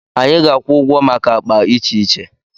Anyị ga-akwụ ụgwọ maka akpa iche iche.